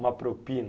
Uma propina.